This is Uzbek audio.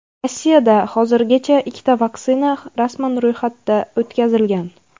Rossiyada hozirgacha ikkita vaksina rasman ro‘yxatda o‘tkazilgan.